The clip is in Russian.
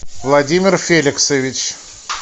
владимир феликсович